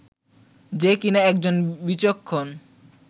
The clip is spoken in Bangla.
যে কিনা একজন বিচক্ষণ